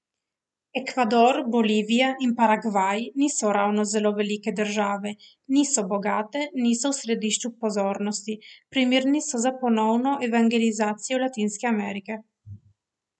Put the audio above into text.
Ekvador, Bolivija in Paragvaj niso ravno zelo velike države, niso bogate, niso v središču pozornosti, primerne so za ponovno evangelizacijo Latinske Amerike.